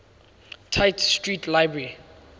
tite street library